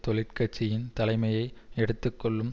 தொழிற் கட்சியின் தலைமையை எடுத்து கொள்ளும்